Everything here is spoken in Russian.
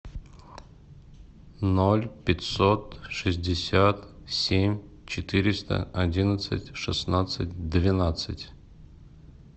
ноль пятьсот шестьдесят семь четыреста одиннадцать шестнадцать двенадцать